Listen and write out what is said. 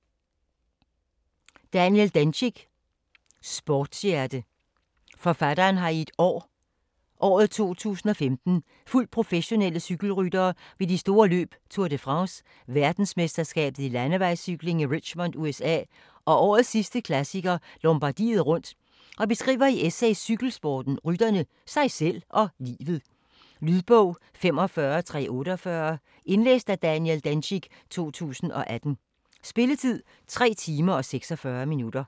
Dencik, Daniel: Sportshjerte Forfatteren har i et år i 2015 fulgt professionelle cykelryttere ved de store løb Tour de France, verdensmesterskabet i landevejscykling i Richmond USA, og årets sidste klassiker, Lombardiet rundt og beskriver i essays cykelsporten, rytterne, sig selv og livet. Lydbog 45348 Indlæst af Daniel Dencik, 2018. Spilletid: 3 timer, 46 minutter.